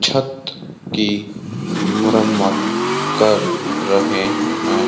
छत की मुरम्मत कर रहे है।